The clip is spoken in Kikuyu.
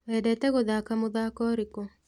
Wendete gũthaka mũthako ũrĩkũ?